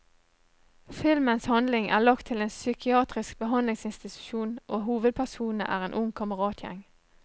Filmens handling er lagt til en psykiatrisk behandlingsinstitusjon og hovedpersonene er en ung kameratgjeng.